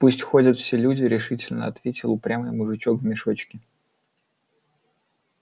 пусть ходят все люди решительно ответил упрямый мужичок в мешочке